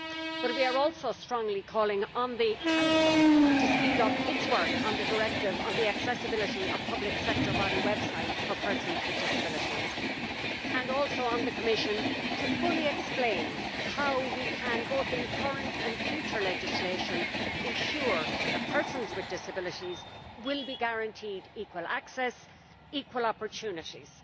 But we are also strongly calling on the Council to speed up its work on the Directive on the accessibility of public sector bodies' websites for persons with disabilities, and also on the Commission to explain in full how, in both current and future legislation, we can ensure that persons with disabilities will be guaranteed equal access and equal opportunities.